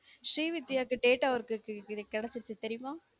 ஸ்ரீ வித்தியா க்கு data work க்கு கெடைச்சுருச்சு தெரியுமா